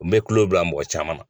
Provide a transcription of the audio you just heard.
N bɛ tulo bila mɔgɔ caman na